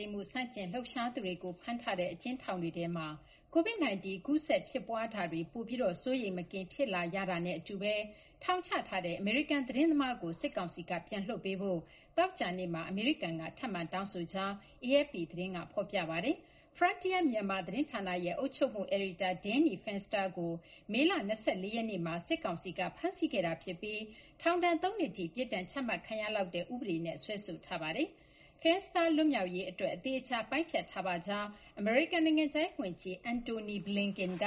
ိမ်းမှု ဆန့်ကျင်လှုပ်ရှားသူတွေကို ဖမ်းထားတဲ့ အကျဉ်းထောင်တွေထဲမှာ Covid-19 ကူးစက် ဖြစ်ပွားမှုတွေကို ပိုပြီး စိုးရိမ်မကင်း ဖြစ်လာရတာနဲ့ အတူဘဲ ထောင်ချထားတဲ့ အမေရိကန် သတင်းသမားကို စစ်ကောင်စီက ပြန်လွှတ်ပေးဖို့ သောကြာနေ့မှာ အမေရိကန်က ထပ်မံ တောင်းဆိုကြောင်း AFP သတင်းက ဖော်ပြပါတယ်။ Forntier Myanmar သတင်းဌာနရဲ့ အုပ်ချုပ်မှု အယ်ဒီတာ Danny Fenster ကို မေလ ၂၄ ရက်နေ့မှာ စစ်ကောင်စီက ဖမ်းဆီးခဲ့တာ ဖြစ်ပြီး ထောင်ဒဏ် ၃ နှစ်ထိ ပြစ်ဒဏ်ချမှတ်ခံရလောက်တဲ့ ဥပဒေနဲ့ စွဲဆိုထားတာပါ။ Fenster လွတ်မြောက်ရေး အတွက် အသေအချာ ပိုင်းဖြတ်ထားပါကြောင်း အမေရိကန် နိုင်ငံခြားရေး ဝန်ကြီး Antony Blinken က